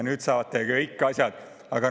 Nüüd te saate kõik asjad!